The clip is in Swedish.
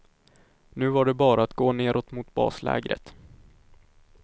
Nu var det bara att gå neråt mot baslägret.